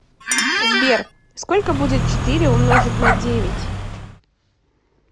сбер сколько будет четыре умножить на девять